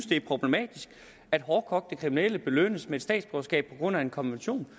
det er problematisk at hårdkogte kriminelle belønnes med et statsborgerskab på grund af en konvention